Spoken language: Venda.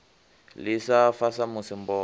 ḽi sa fa samusi mboma